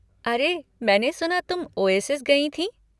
अरे, मैंने सुना तुम ओएसिज़ गई थीं?